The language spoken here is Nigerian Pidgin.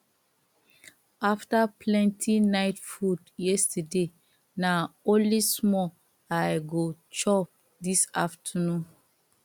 after plenty night food yesterday na only small i go chop this afternoon